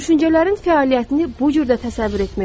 Düşüncələrin fəaliyyətini bu cür də təsəvvür etmək olar.